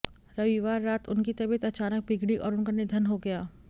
रविवार रात उनकी तबियत अचानक बिगड़ी और उनका निधन हो गया